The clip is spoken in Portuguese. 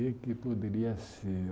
O que é que poderia ser?